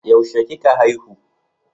Yaushe kika haihu?